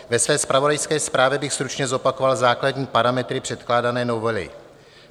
Ve své zpravodajské zprávě bych stručně zopakoval základní parametry předkládané novely.